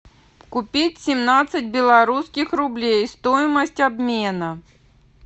купить семнадцать белорусских рублей стоимость обмена